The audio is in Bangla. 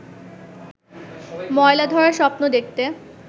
ময়লা-ধরা স্বপ্ন দেখতে